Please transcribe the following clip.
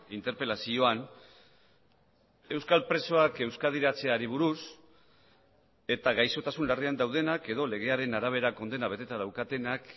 interpelazioan euskal presoak euskadiratzeari buruz eta gaixotasun larrian daudenak edo legearen arabera kondena beteta daukatenak